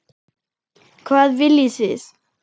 Hvað viljið þið!